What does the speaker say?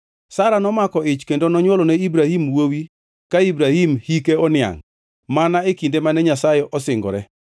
Sara nomako ich kendo nonywolone Ibrahim wuowi ka Ibrahim hike oniangʼ, mana e kinde mane Nyasaye osingore.